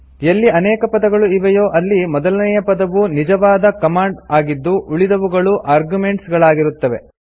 ಎಲ್ಲಿ ಅನೇಕ ಪದಗಳು ಇವೆಯೋ ಅಲ್ಲಿ ಮೊದಲನೇಯ ಪದವು ನಿಜವಾದ ಕಮಾಂಡ್ ಆಗಿದ್ದು ಉಳಿದವುಗಳು ಆರ್ಗುಮೆಂಟ್ಸ್ ಗಳಾಗಿರುತ್ತವೆ